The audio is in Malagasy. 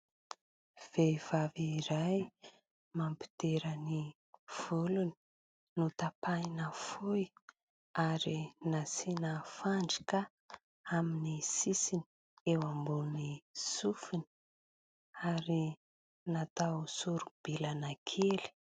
Vehivavy iray mampidera ny volony, notapahina fohy, ary nasina fandrika amin'ny sisiny eo ambony sofiny, ary natao soribilana kely.